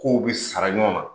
K' u bɛ sara ɲɔgɔn na.